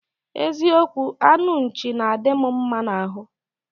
Eziokwu, anụ nchi na-adị m mma n'ahụ.